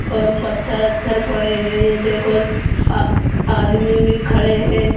और पत्थर वत्थर पड़े हैं ये देखो अ आदमी भी खड़े हैं।